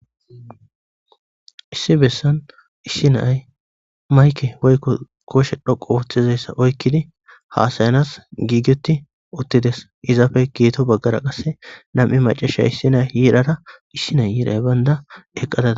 Issi bessan issi na,ayi mayike woyiko koshe dhoqu otidayisa oyiqidi hasayanas gigeti utides izappe guyeto bagara qasi na,mu Mac,asiya issina yirara isina yirayi bayinan eqada dawus